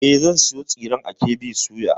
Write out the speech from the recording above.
E, zan sayo tsiren a KB soya.